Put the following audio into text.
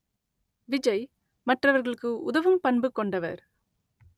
விஜய் மற்றவர்களுக்கு உதவும் பண்பு கொண்டவர்